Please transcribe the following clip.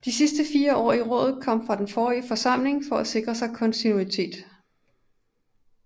De sidste fire i rådet kom fra den forrige forsamling for at sikre kontinuitet